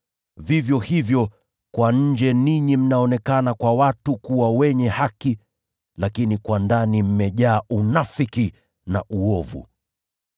Vivyo hivyo, kwa nje ninyi mnaonekana kwa watu kuwa wenye haki, lakini kwa ndani mmejaa unafiki na uovu.